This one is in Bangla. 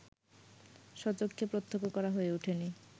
স্বচক্ষে প্রত্যক্ষ করা হয়ে ওঠেনি